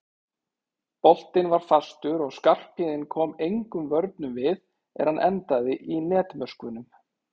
Boltinn var fastur og Skarphéðinn kom engum vörnum við er hann endaði í netmöskvunum.